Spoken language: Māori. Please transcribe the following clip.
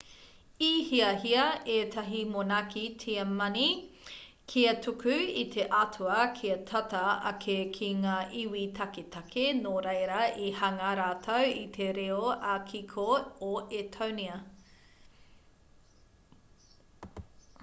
i hiahia ētahi monaki tiamani kia tuku i te atua kia tata ake ki ngā iwi taketake nō reira i hanga rātou i te reo ā-kiko o etōnia